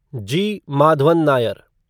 जी. Madhavan Nair